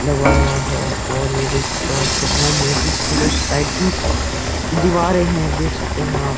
लगवाया हुआ है और ये देख सकते हो आप कितना मोटी इसकी दो साइड की दीवारें है। देख सकते हैं आप।